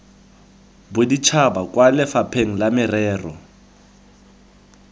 boditšhaba kwa lefapheng la merero